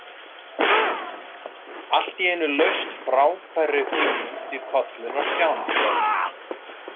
Allt í einu laust frábærri hugmynd í kollinn á Stjána.